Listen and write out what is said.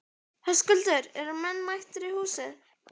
Höskuldur, eru menn mættir í hús?